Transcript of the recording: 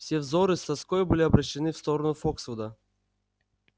все взоры с тоской были обращены в сторону фоксвуда